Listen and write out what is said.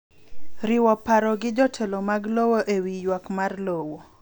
Riwo parogi jotelo mag lowo e wi ywak mar lowo.